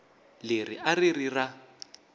leri a ri ri ra